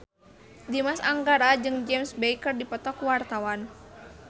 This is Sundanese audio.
Dimas Anggara jeung James Bay keur dipoto ku wartawan